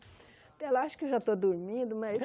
Até lá acho que já estou dormindo, mas...